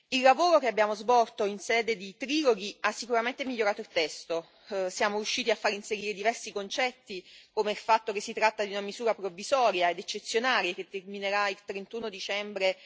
Il lavoro che abbiamo svolto in sede di triloghi ha sicuramente migliorato il testo siamo riusciti a far inserire diversi concetti, come il fatto che si tratta di una misura provvisoria ed eccezionale che terminerà il 31 dicembre